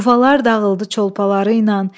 Yuvalar dağıldı çolpaları ilə.